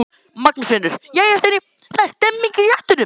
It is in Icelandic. Magnús Hlynur: Jæja Steini, það er stemning í réttunum?